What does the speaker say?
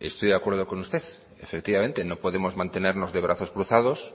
estoy de acuerdo con usted efectivamente no podemos mantenernos de brazos cruzados